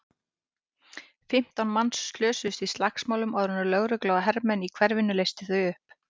Fimmtán manns slösuðust í slagsmálunum áður en lögregla og hermenn í hverfinu leystu þau upp.